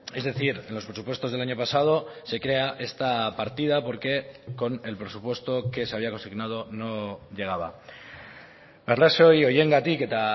es decir en los presupuestos del año pasado se crea esta partida porque con el presupuesto que se había consignado no llegaba arrazoi horiengatik eta